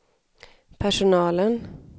personalen